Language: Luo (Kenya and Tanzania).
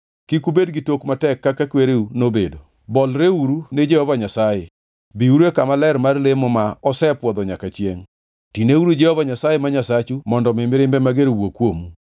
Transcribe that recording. Kik ubed gi tok matek kaka kwereu nobedo, bolreuru ni Jehova Nyasaye. Biuru e kama ler mar lemo ma osepwodho nyaka chiengʼ. Tineuru Jehova Nyasaye ma Nyasachu mondo mi mirimbe mager owuog kuomu.